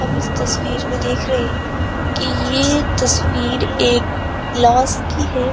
हम इस तस्वीर में देख रहे है कि ये तस्वीर एक क्लास की है।